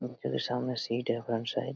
उन के भी सामने सीट है फ्रंट साइड--